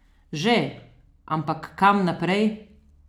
Že, ampak kam naprej?